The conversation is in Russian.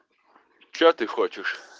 что ты хочешь